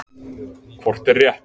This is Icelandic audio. Hvort er rétt?